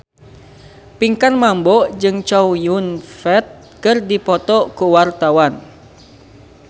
Pinkan Mambo jeung Chow Yun Fat keur dipoto ku wartawan